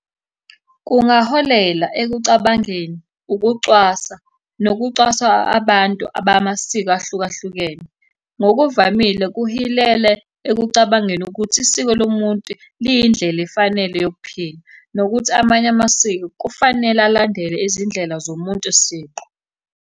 Kungaholela ekucabangeni ukucwasa nokucwaswa abantu abamasiko ahlukahlukene. Ngokuvamile kuhilele ekucabangeni ukuthi isiko lomuntu liyindlela efanele yokuphila, nokuthi amanye amasiko kufanele alandele izindlela zomuntu siqu.